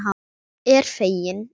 Er fegin.